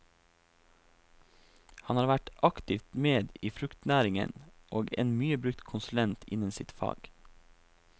Han har vært aktivt med i fruktnæringen, og en mye brukt konsulent innen sitt fag.